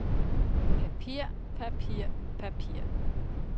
papir papir papir